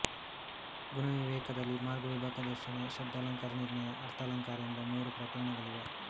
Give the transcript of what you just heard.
ಗುಣವಿವೇಕದಲ್ಲಿ ಮಾರ್ಗವಿಭಾಗದರ್ಶನ ಶಬ್ದಾಲಂಕಾರ ನಿರ್ಣಯ ಅರ್ಥಾಲಂಕಾರ ಎಂಬ ಮೂರು ಪ್ರಕರಣಗಳಿವೆ